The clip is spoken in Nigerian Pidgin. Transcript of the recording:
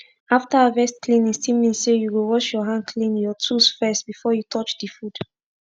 after harvest cleaning still mean say u go wash ur hand clean ur tools first before u touch d food